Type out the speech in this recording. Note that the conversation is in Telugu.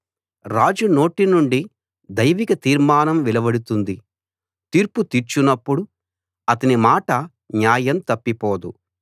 రాజు నోటి నుండి దైవిక తీర్మానం వెలువడుతుంది తీర్పు తీర్చునప్పుడు అతని మాట న్యాయం తప్పిపోదు